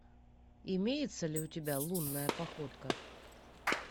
имеется ли у тебя лунная походка